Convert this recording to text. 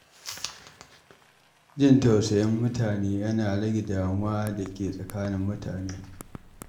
Jin tausayin mutane yana rage damuwa da ke tsakanin mutane.